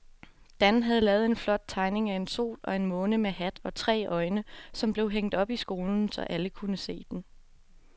Dan havde lavet en flot tegning af en sol og en måne med hat og tre øjne, som blev hængt op i skolen, så alle kunne se den.